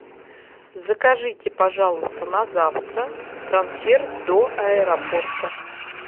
закажите пожалуйста на завтра трансфер до аэропорта